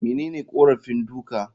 Menene korafin duka?